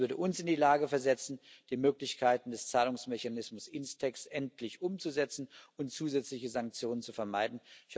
Das würde uns in die Lage versetzen, die Möglichkeiten des Zahlungsmechanismus Instex endlich umzusetzen und zusätzliche Sanktionen zu vermeiden.